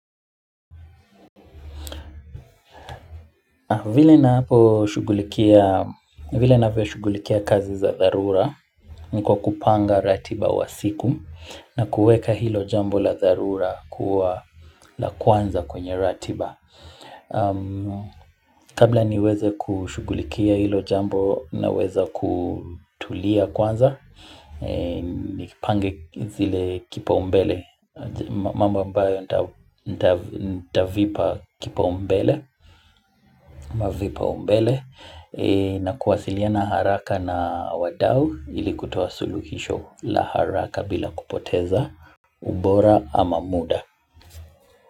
Vile naposhughulikia vile navyoshughulikia kazi za dharura, ni kwa kupanga ratiba wa siku na kueka hilo jambo la dharura kuwa la kwanza kwenye ratiba. Kabla niweze kushughulikia hilo jambo naweza kutulia kwanza Nipange zile kipaumbele mambo ambayo nitavipa kipaumbele au vipaumbele na kuwasiliana haraka na wadau ilikutoa suluhisho la haraka bila kupoteza ubora ama muda.